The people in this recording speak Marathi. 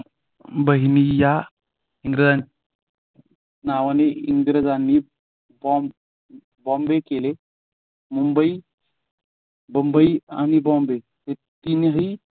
बहिणी या नावाने इंग्रजांनी फॉर्म बॉम्बे केले मुंबई आणि बॉम्बे हे तीनही